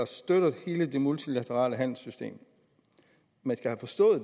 støtter hele det multilaterale handelssystem